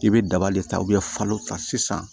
I bɛ daba de ta falo ta sisan